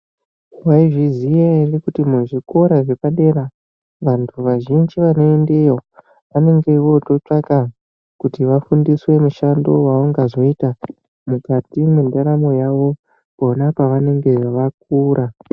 Waizviziya ere kuti muzvikora zvepadera vantu vazhinji vanoendeyo vanenge vototsvaka kuti vafundiswe mushando wevangazoita mukati mwendaramo yavo pona pavanenge vakura.